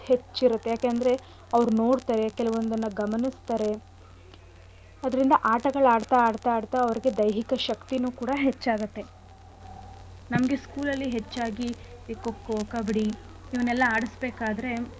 ಹೆಚ್ಚಿರತ್ತೆ ಯಾಕಂದ್ರೆ ಅವ್ರು ನೋಡ್ತಾರೆ ಕೆಲ್ವೊಂದನ್ನ ಗಮನಿಸ್ತಾರೆ ಅದ್ರಿಂದ ಆಟಗಳ್ ಆಡ್ತಾ ಆಡ್ತಾ ಆಡ್ತಾ ಅವ್ರಿಗೆ ದೈಹಿಕ ಶಕ್ತಿನೂ ಕೂಡ ಹೆಚ್ಚಾಗತ್ತೆ. ನಮ್ಗೆ School ಅಲ್ಲಿ ಹೆಚ್ಚಾಗಿ ಈ ಖೋ ಖೋ, ಕಬ್ಬಡಿ ಇವ್ನೆಲ್ಲಾ ಆಡಸ್ಬೇಕಾದ್ರೆ.